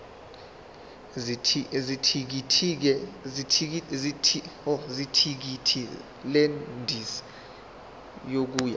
zethikithi lendiza yokuya